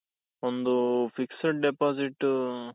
ಒಂದು fixed depositಟು,